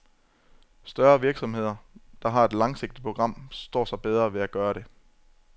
Større virksomheder, der har et langsigtet program, står sig bedre ved at gøre det.